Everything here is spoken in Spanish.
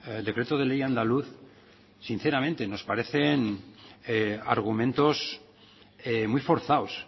el decreto de ley andaluz sinceramente nos parecen argumentos muy forzados